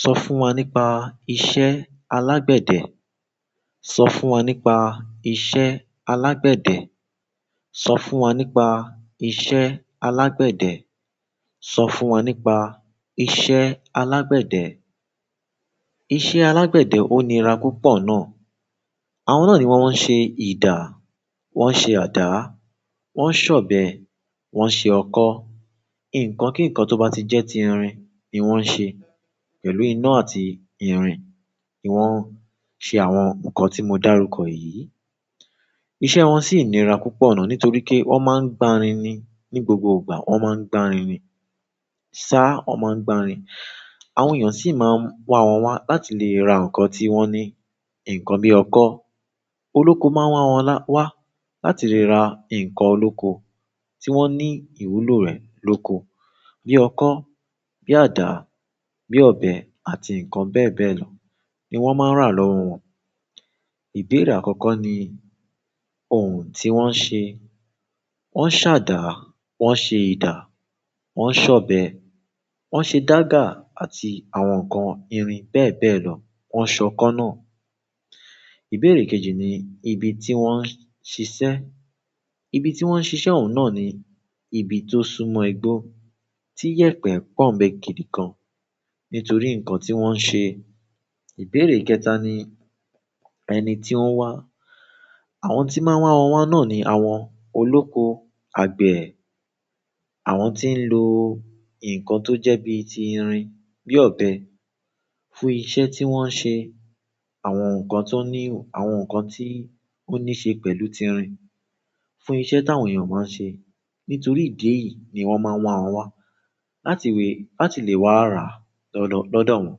Sọ fún wa nípa iṣẹ́ alágbẹ̀dẹ? Sọ fún wa nípa iṣẹ́ alágbẹ̀dẹ. Sọ fún wa nípa iṣẹ́ alágbẹ̀dẹ. Sọ fún wa nípa iṣẹ́ alágbẹ̀dẹ. Iṣẹ́ alágbẹ̀dẹ ó nira púpọ̀ náà. Àwọn náà ni wọ́n ń ṣe ìdá, wọ́n ń ṣe àdá, wọ́n ń ṣọ̀bẹ, wọ́n ń ṣe ọkọ́. Ǹkan kí ǹkan tó bá ti jẹ́ ti irin ni wọ́n ń ṣe. Pẹ̀lú iná àti irin ni wọ́n ń ṣe àwọn ǹkan tí mo dárúkọ yìí. Iṣẹ́ wọn sì ń nira púpọ̀ náà nítorí pé wọ́n má ń gba rin ni. Ní gbogbo ìgbà wọ́n má ń gba rin ni. Ṣá wọ́n má ń gba rin. Àwọn èèyàn sì máa ń wá wọ́n wá láti lè ra ǹkan tí wọ́n ní. Ǹkan bí ọkọ́, olóko máa wá wọ́n wá láti lè ra ǹkan olóko tí wọ́n ní ìwúlò rẹ̀ lóko. Bí ọkọ́, bí àdá, bí ọbẹ̀ àti ǹkan bẹ́ẹ̀ bẹ́ẹ̀ lọ ni wọ́n má ń rà lọ́wọ́ wọn. Ìbéèrè àkọ́kọ́ ni ohun tí wọ́n ń ṣe. Won se ada, won ṣe ida, wọn se ọbẹ̀, wọn se daga àti àwọn nkán irin beebee lo. Wọ́n ń ṣọ kọ́ náà. Ìbéèrè kejì ni ibi tí wọ́n ń ṣiṣẹ́. Ibi tí wọ́n ń ṣiṣẹ́ òun náà ni ibi tó súnmọ́ igbó, tí yẹ̀pẹ̀ pọ̀n bẹ́ẹ̀ gidi gan. Nítorí ǹkan tí wọ́n ń ṣe. Ìbéèrè kẹta ni ẹni tí ó ń wá. Àwọn tí máa ń wá wọ́n wá náà ni àwọn olóko, àgbẹ̀, àwọn tí ń lo ǹkan tó jẹ́ bíi ti irin, bí ọbẹ̀, fún iṣẹ́ tí wọ́n ń ṣe. Àwọn ǹkan tó ní, àwọn ǹkan tí ó ní ṣe pẹ̀lú ti irin, fún iṣẹ́ táwọn èèyàn máa ń ṣe. Nítorí idi èyí ni wón maa n wa wọn wa láti le wa ra lọdọ wọn.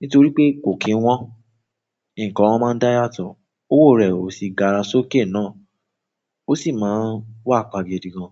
Nítorí pé kò kí wọ́n, ǹkan wọn máa ń dá yàtọ̀, owó rẹ̀ ò sì gara sókè náà. O sin ma wapa gidi gan.